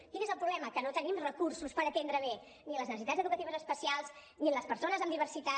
quin és el problema que no tenim recursos per atendre bé ni les necessitats educatives especials ni les persones amb diversitat